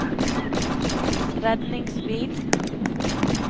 redningsbil